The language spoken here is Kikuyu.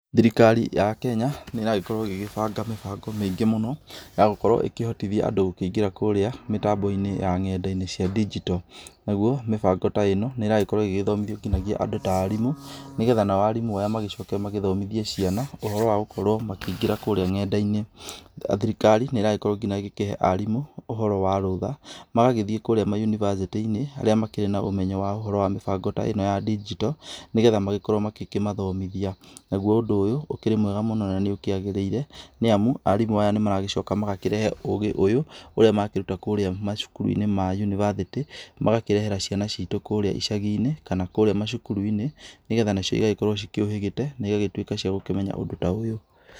Thirikari ya Kenya nĩ ĩragĩkorwo ĩgĩbanga mĩbango mĩingĩ mũno ya gũkorwo ĩkĩhotithia andũ gũkĩingira kũrĩa mĩtambo-inĩ ya nenda-inĩ cia digital. Naguo mĩbango ta ĩno nĩĩrakorwo igĩbundithio andũ ta arimũ, negetha nao aya magĩcoke magĩthomithie ciana ũhoro wa gũkorũo makĩingĩra kũrĩa nenda-inĩ. Thirikari nĩ ĩrakorwo ginya ĩkĩhee arimũ ũhoro wa rũtha. Magagĩthiĩ ginya kũrĩa ma yunibacĩtĩ-inĩ arĩa makĩrĩ na ũmenyo wa ũhoro wa mĩbango ĩno ya digital negetha magakorũo makĩmathomithia. Naguo ũndũ ũyũ nĩ mwega mũno na nĩwagĩrĩire nĩ amu, arimũ aya nĩmaracoka makarehe ũgĩ ũyũ ũrĩa marakĩruta macukuru-inĩ ma yunibacĩtĩ, magakĩrehera ciana citu kũrĩa icagi-inĩ kana kũrĩa macukuru-inĩ nĩgetha nacio igakorũo cikĩũhĩgĩte na cigagĩtuĩka cia kũmenya ũndũ ta ũyũ .